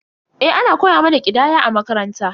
Eh, ana koya mana ƙidaya a makaranta.